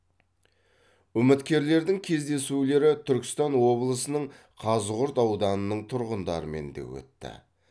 үміткерлердің кездесулері түркістан облысының қазығұрт ауданының тұрғындарымен де өтті